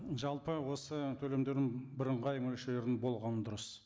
жалпы осы төлемдердің бірыңғай мөлшерінің болғаны дұрыс